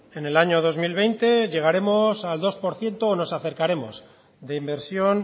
en el año dos mil veinte llegaremos al dos por ciento o nos acercaremos de inversión